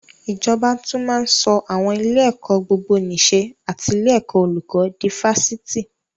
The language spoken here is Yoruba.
Ìjọba tún máa ń sọ àwọn ilé-ẹ̀kọ́ gbogbonìṣe and ilé ẹ̀kọ́ olùkó di Fásitì.